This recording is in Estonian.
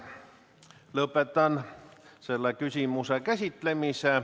Lõpetan selle küsimuse käsitlemise.